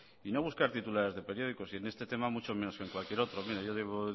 y no buscar titulares de periódicos y en este tema mucho menos que en cualquier otro mire yo llevo